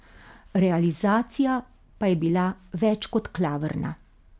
Realizacija pa je bila več kot klavrna.